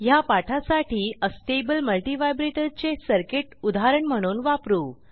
ह्या पाठासाठी astable multivibrator चे सर्किट उदाहरण म्हणून वापरू